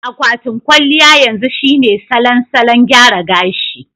Akwatin kwalliya yanzu shine salon salon gyara gashi.